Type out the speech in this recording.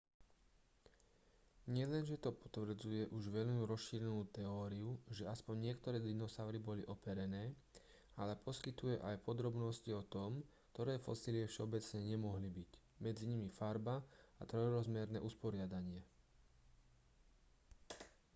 nielenže to potvrdzuje už veľmi rozšírenú teóriu že aspoň niektoré dinosaury boli operené ale poskytuje aj podrobnosti o tom ktoré fosílie všeobecne nemohli byť medzi nimi farba a trojrozmerné usporiadanie